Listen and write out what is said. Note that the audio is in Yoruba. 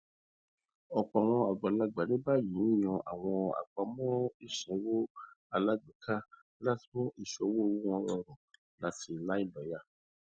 ọpọ àwọn agbalagba ní báyìí ń yàn àwọn àpamọ ìsanwó alágbèéká láti mú ìṣòwò owó wọn rọrùn àti láìlòyà